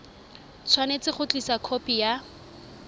tshwanetse go tlisa khopi ya